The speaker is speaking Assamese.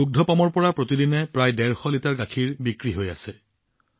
তেওঁৰ দুগ্ধ পামৰ পৰা প্ৰতিদিনে প্ৰায় ১৫০ লিটাৰ গাখীৰ বিক্ৰী হৈ আছে